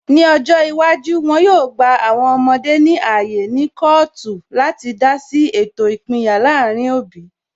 Ní ọjọ́ iwájú, wọn yóò gba àwọn ọmọdé ní ààyè ní kọọtu láti dá sí ètò ìpínyà láàrin òbí